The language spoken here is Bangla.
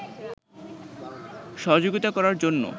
সহযোগীতা করার জন্য